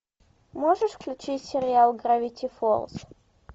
можешь включить сериал гравити фолз